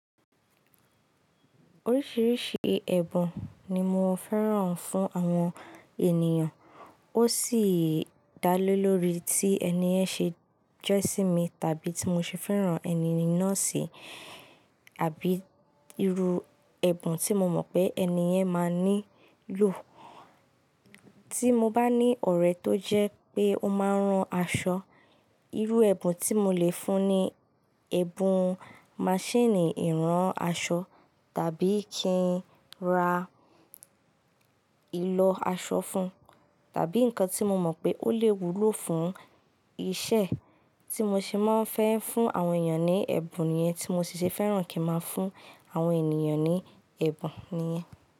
Oríṣìíríṣìí ẹ̀bùn ni mo fẹ́ràn fún àwọn ènìyàn, ó sì dá lé lórí tí ẹni yẹn ṣe jẹ́ sími tàbí tí mo ṣe fẹ́ràn ẹni ni náà ṣi, àbí irú ẹ̀bùn tí mo mọ̀ pé ẹni yẹn máa nílò. Tí mo bá ní ọ̀rẹ́ tó jẹ́ pé ó máa ń rán aṣọ, irú ẹ̀bùn tí mo lè fún ni ẹ̀bùn maṣíìnì ìrán aṣọ tàbí kí n ra ìlọ aṣọ fún, tàbí nǹkan tí mo mọ̀ pé ó lè wúlò fún iṣẹ́ tí mo ṣe máa ń fẹ́ fún àwọn ènìyàn ní ẹ̀bùn niyẹn tí mo sì ṣe fẹ́ràn kí n máa fún àwọn ènìyàn ní ẹ̀bùn niyẹn.